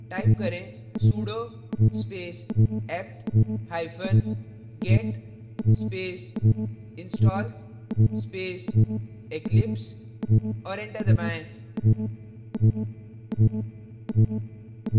type करें sudo space apt hypen get space install space eclipse और enter दबाएं